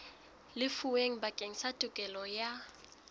lefuweng bakeng sa tokelo ya